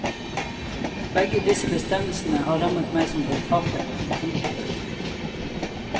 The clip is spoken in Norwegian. Begge disse bestemmelsene har rammet meg som forfatter. punktum